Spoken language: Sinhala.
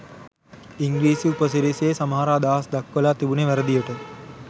ඉංග්‍රීසි උපසිරසියෙ සමහර අදහස් දක්වලා තිබුණෙ වැරදියට.